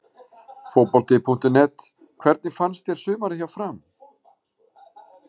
Fótbolti.net: Hvernig fannst þér sumarið hjá FRAM?